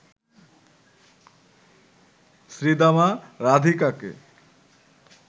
Sridama রাধিকাকে